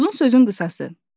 Uzun sözün qısası.